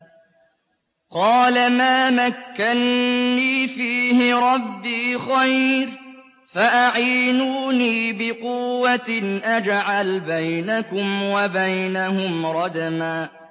قَالَ مَا مَكَّنِّي فِيهِ رَبِّي خَيْرٌ فَأَعِينُونِي بِقُوَّةٍ أَجْعَلْ بَيْنَكُمْ وَبَيْنَهُمْ رَدْمًا